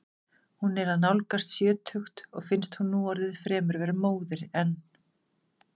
Hún er að nálgast sjötugt og finnst hún núorðið fremur vera móðir en.